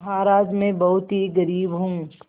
महाराज में बहुत ही गरीब हूँ